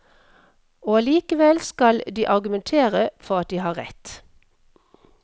Og allikevel skal de argumentere for at de har rett.